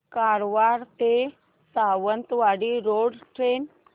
कारवार ते Sawantwadi road train